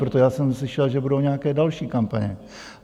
Protože já jsem slyšel, že budou nějaké další kampaně.